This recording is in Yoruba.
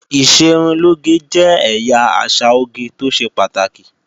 Ìṣerunlóge jẹ́ ẹ̀yà àṣà oge tó ṣe pàtàkì